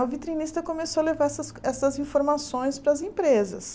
O vitrinista começou a levar essas essas informações para as empresas.